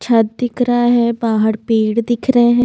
छत दिख रहा है बाहर पेड़ दिख रहे हैं।